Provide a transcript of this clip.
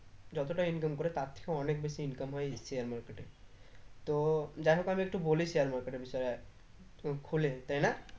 যতটা income করে তার থেকে অনেক বেশি income হয় এই share market এ তো যাই হোক আমি একটু বলি share market এর বিষয় খুলে তাই না